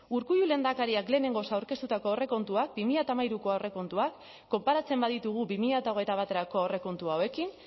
urkullu lehendakariak lehenengoz aurkeztutako aurrekontuak bi mila hamairuko aurrekontuak konparatzen baditugu bi mila hogeita baterako aurrekontu hauekin